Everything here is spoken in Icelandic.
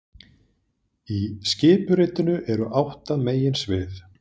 Í skipuritinu eru átta meginsvið